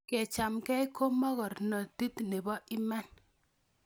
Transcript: Kechamgei ko mokornondit nebo iman